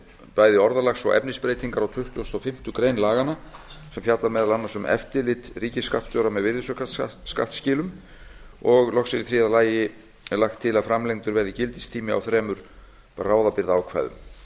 bæði orðalags og efnisbreytingar á tuttugustu og fimmtu grein laganna sem fjallar meðal annars um eftirlit ríkisskattstjóra með virðisaukaskattsskilum og loks er í þriðja lagi lagt til að framlengdur verði gildistími á þremur bráðabirgðaákvæðum